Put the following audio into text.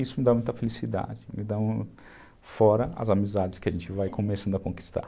Isso me dá muita felicidade, me dá fora as amizades que a gente vai começando a conquistar.